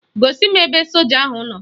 Gosi m ebe soja ahụ nọ